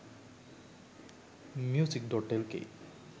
music.lk